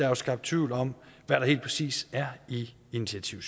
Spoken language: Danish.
er skabt tvivl om hvad der helt præcis er i initiativ